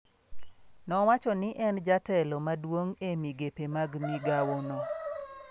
Nowacho ni en jatelo maduong' e migepe mag migawono.